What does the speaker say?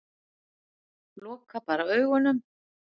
Loka bara augunum.